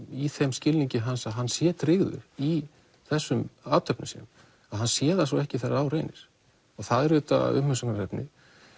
í þeim skilningi hans að hann sé tryggður í þessum athöfnum sínum að hann sé það svo ekki þegar á reynir það er auðvitað umhugsunarefni